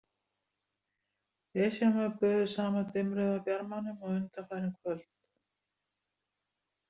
Esjan var böðuð sama dimmrauða bjarmanum og undanfarin kvöld.